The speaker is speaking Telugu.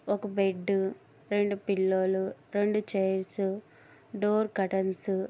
ఒక బెడ్డు రెండు పిల్లో లు రెండు చేర్స్ డోర్ కర్టన్స్--